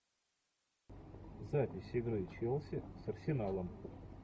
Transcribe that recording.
запись игры челси с арсеналом